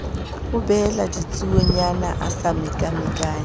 ubella ditsuonyana a sa mekamekane